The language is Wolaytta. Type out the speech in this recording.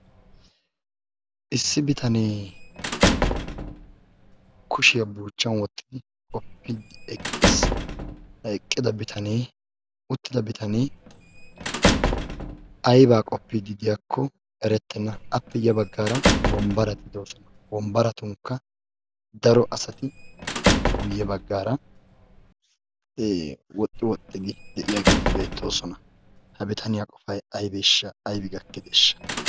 Issi bitanee kushiyaa buuchchan wottidi qoppiiddi eqqis. Ha eqqida bitanee uttida bitanee ayibaa qoppiiddi diyakko erettenna. Appe yabaggaara baggaara wombbarati de'oosona wombbaratunkka daro asati guyye baggaara woxxi woxxidi de'iyaageeti beettoosona. Ha bitaniya qofay ayibeeshsha ayibi gakkideeshsha?